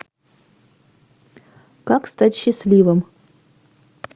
как стать счастливым